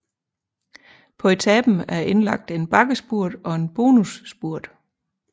På etapen er indlagt en bakkespurt og en bonusspurt